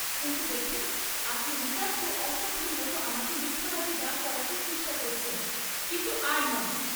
কিন্তু দেখুন আপনি নিতান্ত অসভ্যের মত আমাকে মিথ্যাবাদী দাঁড় করাতে চেষ্টা করছেন, কিন্তু আর নয়!